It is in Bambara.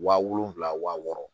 Wa wolonwula wa wɔɔrɔ